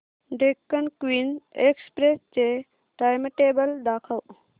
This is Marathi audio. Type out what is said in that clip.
डेक्कन क्वीन एक्सप्रेस चे टाइमटेबल दाखव